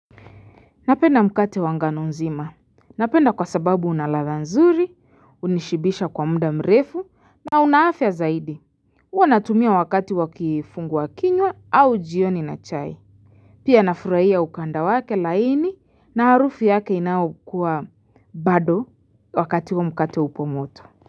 Napenda mkate wa ngano nzima. Napenda kwa sababu unaladha nzuri, unishibisha kwa mda mrefu, na una afya zaidi. Uwa natumia wakati wa kifungua kinywa au jioni na chai. Pia nafurahia ukanda wake laini na harufi yake inaokua bado wakati wa mkate upo moto.